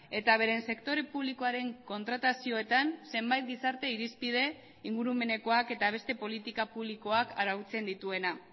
eta beren sektore publikoaren kontratazioetan zenbait gizarte irizpide ingurumenekoak eta beste politika publikoak arautzen dituena